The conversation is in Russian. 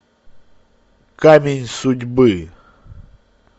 камень судьбы